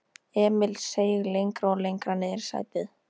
Emil seig lengra og lengra niðrí sætið.